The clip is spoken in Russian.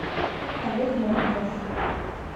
олег новиков